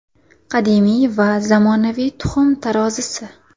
Qadimiy va zamonaviy tuxum tarozisi.